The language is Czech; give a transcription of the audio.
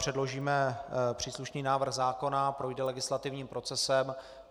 Předložíme příslušný návrh zákona, projde legislativním procesem.